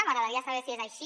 m’agradaria saber si és així